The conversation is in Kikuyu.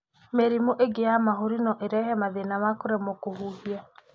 Mĩrimũ ĩngĩ ya mahũri no ĩrehe mathĩna ma kũremo kũhihia.